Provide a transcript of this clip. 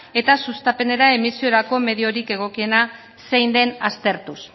eta sustapenera emisiorako egokiena zein den aztertuz